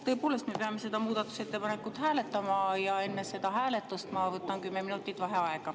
Tõepoolest, me peame seda muudatusettepanekut hääletama ja enne seda hääletust ma võtan kümme minutit vaheaega.